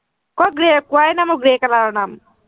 কত grey পোৱাই নাই মই grey color ৰ নাম।